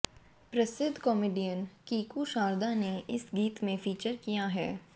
प्रसिद्ध कॉमेडियन कीकू शारदा ने इस गीत में फीचर किया है